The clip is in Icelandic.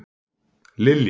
Lilja